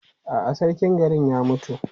A'a, sarkin garin ya mutu.